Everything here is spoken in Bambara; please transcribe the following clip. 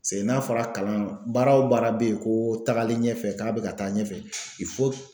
Seke n'a fɔra kalan baara wo baara be yen ko tagalen ɲɛfɛ k'a be ka taa ɲɛfɛ